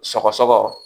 Sɔgɔsɔgɔ